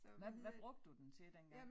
Hvad hvad brugte du den til dengang